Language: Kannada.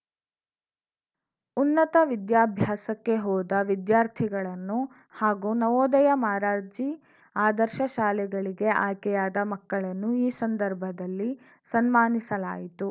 ಉನ್ನತ ವಿದ್ಯಾಭ್ಯಾಸಕ್ಕೆ ಹೋದ ವಿದ್ಯಾರ್ಥಿಗಳನ್ನು ಹಾಗೂ ನವೋದಯ ಮಾರರ್ಜಿ ಆದರ್ಶ ಶಾಲೆಗಳಿಗೆ ಆಯ್ಕೆಯಾದ ಮಕ್ಕಳನ್ನು ಈ ಸಂದರ್ಭದಲ್ಲಿ ಸನ್ಮಾನಿಸಲಾಯಿತು